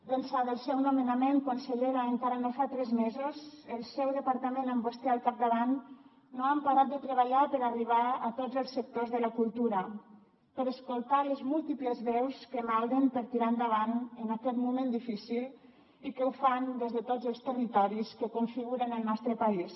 d’ençà del seu nomenament consellera encara no fa tres mesos el seu departament amb vostè al capdavant no ha parat de treballar per arribar a tots els sectors de la cultura per escoltar les múltiples veus que malden per tirar endavant en aquest moment difícil i que ho fan des de tots els territoris que configuren el nostre país